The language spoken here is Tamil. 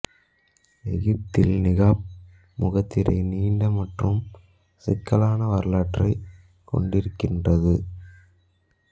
எகிப்தில் நிகாப் முகத்திரை நீண்ட மற்றும் சிக்கலான வரலாற்றைக் கொண்டிருக்கிறது